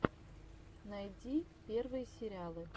найди первые сериалы